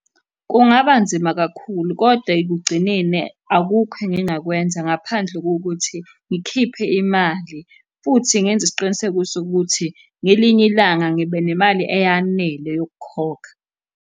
Kungaba nzima kakhulu, kodwa ekugcineni akukho engingakwenza ngaphandle kokuthi ngikhiphe imali, futhi ngenze isiqiniseko sokuthi ngelinye ilanga ngiba nemali eyanele yokukhokha.